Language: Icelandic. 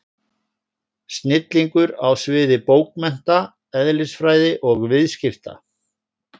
Snillingur á sviði bókmennta, eðlisfræði og viðskipta!